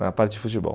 Na parte de futebol.